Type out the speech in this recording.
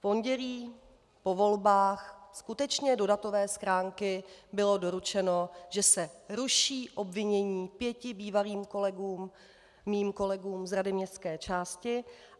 V pondělí, po volbách, skutečně do datové schránky bylo doručeno, že se ruší obvinění pěti bývalým kolegům, mým kolegům z rady městské části.